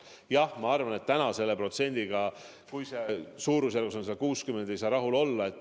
Jah, ma arvan, et selle protsendiga, mis on praegu suurusjärgus 60%, ei saa rahul olla.